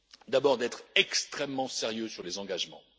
D'abord, être extrêmement sérieux sur les engagements.